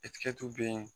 bɛ yen